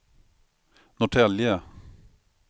Norrtälje